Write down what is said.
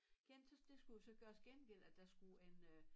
Gen så det skulle jo så gøres gengæld at der skulle en øh